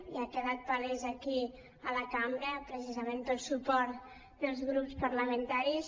ja ha quedat palès aquí a la cambra precisament pel suport dels grups par·lamentaris